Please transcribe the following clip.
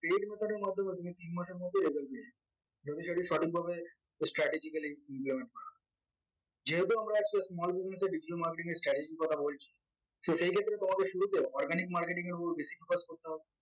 paid method এর মাধ্যমে তুমি তিন মাসের মধ্যে result পেয়ে যাবে যদি সেটি সঠিকভাবে strategically যেহেতু আমরা আজকে small business এর digital marketing এর strategy এর কথা বলছি so সেইক্ষেত্রে তোমাদের শুরুতেও organic marketing এর উপর basic course করতে হবে